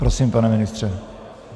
Prosím, pane ministře.